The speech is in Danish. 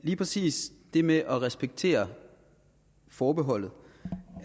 lige præcis det med at respektere forbeholdet